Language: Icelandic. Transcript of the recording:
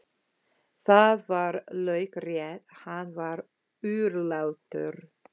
Það var laukrétt, hann var örlátur.